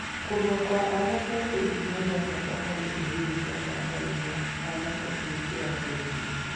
Kũrua kwa anake nĩ ikinya rĩa bata harĩ rũrĩrĩ rwa Maathai rĩa anake kũingĩra njeshi-inĩ.